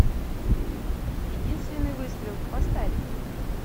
единственный выстрел поставь